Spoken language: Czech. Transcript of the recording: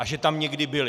A že tam někdy byli.